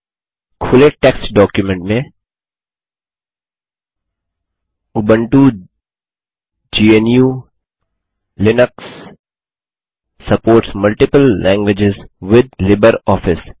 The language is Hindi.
खुले टेक्स्ट डॉक्युमेंट मेंUbuntu gnuलिनक्स supports multiple language with LibreOffice